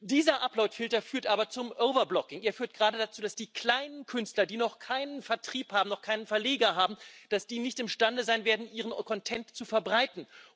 Dieser Uploadfilter führt aber zum overblocking er führt gerade dazu, dass die kleinen Künstler, die noch keinen Vertrieb haben, noch keinen Verleger haben, nicht imstande sein werden, ihren Content zu verbreiten.